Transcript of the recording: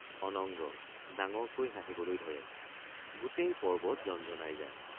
অনঙ্গ— ডাঙৰকৈ হাঁহিবলৈ ধৰে গোটেই পৰ্ব্বত জনজনাই যায়।